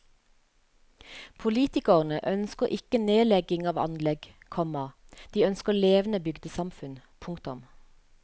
Politikerne ønsker ikke nedlegging av anlegg, komma de ønsker levende bygdesamfunn. punktum